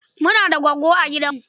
Muna da goggo a gidanmu.